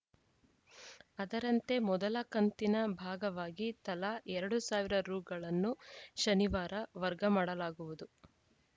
ಅದರಂತೆ ಮೊದಲ ಕಂತಿನ ಭಾಗವಾಗಿ ತಲಾ ಎರಡು ಸಾವಿರ ರುಗಳನ್ನು ಶನಿವಾರ ವರ್ಗ ಮಾಡಲಾಗುವುದು